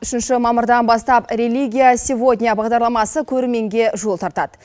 үшінші мамырдан бастап религия сегодня бағдарламасы көрерменге жол тартады